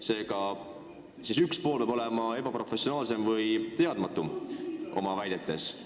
Seega, üks pool peab olema ebaprofessionaalsem või oma väidetes teadmatum.